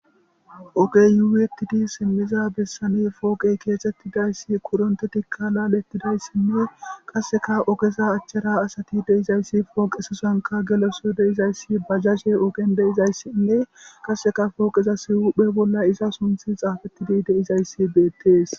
oge yuuyetidi simmiza bessani pooqe keexettidayssi koronte tika lalettidayssinne qasseka ogeza achchara asati deizayssi pooqisusanka gelos deizayssi bajashe ogen deizayssinne qasseka fooqeza siwudphe bolla isa sunthi xaafettidi deizayssi beettees